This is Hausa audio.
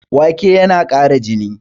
Wake tana ƙara jini